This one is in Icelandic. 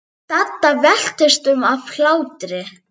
Dadda veltist um af hlátri.